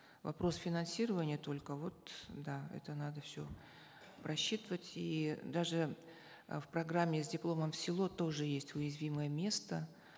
вопрос финансирования только вот да это надо все просчитывать и даже э в программе с дипломом в село тоже есть уязвимое место